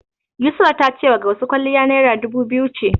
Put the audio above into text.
Yusra ta cewa Gausu kwalliya Naira dubu biyu ce.